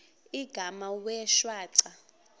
igama wee shwaca